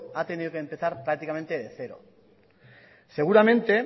ha tenido que empezar prácticamente de cero seguramente